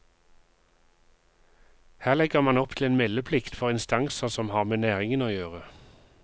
Her legger man opp til en meldeplikt for instanser som har med næringen å gjøre.